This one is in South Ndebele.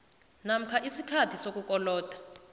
namkha isikhathi sokukoloda